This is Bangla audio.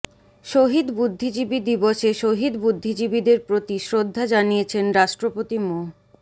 শহীদ বুদ্ধিজীবী দিবসে শহীদ বুদ্ধিজীবীদের প্রতি শ্রদ্ধা জানিয়েছেন রাষ্ট্রপতি মো